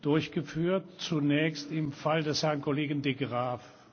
durchgeführt, zunächst im Fall des Herrn Kollegen de Graaff.